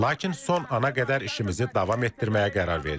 Lakin son ana qədər işimizi davam etdirməyə qərar verdik.